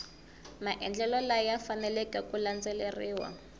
maendlelo laya faneleke ku landzeleriwa